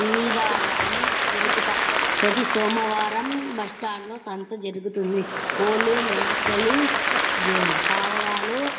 వివిధ అన్ని దొరకు ప్రతి సోమవారం బస్ స్టాండ్ సంతం జరుగుతుంది కొల్లు మేకలు పావురాలు --